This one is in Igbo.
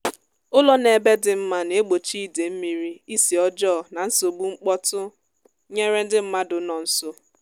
ụlọ nọ ebe dị mma na-egbochi ide mmiri isi ọjọọ na nsogbu mkpọtụ nyere ndị mmadụ nọ nso